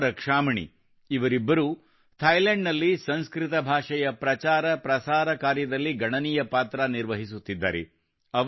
ಕುಸುಮಾ ರಕ್ಷಾಮಣಿ ಇವರಿಬ್ಬರೂ ಥೈಲ್ಯಾಂಡ್ ನಲ್ಲಿ ಸಂಸ್ಕೃತ ಭಾಷೆಯ ಪ್ರಚಾರಪ್ರಸಾರ ಕಾರ್ಯದಲ್ಲಿ ಗಣನೀಯ ಪಾತ್ರ ನಿರ್ವಹಿಸುತ್ತಿದ್ದಾರೆ